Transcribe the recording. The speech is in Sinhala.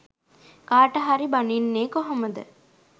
කාට හරි බනින්නේ කොහොමද.